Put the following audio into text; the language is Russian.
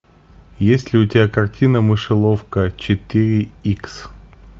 есть ли у тебя картина мышеловка четыре икс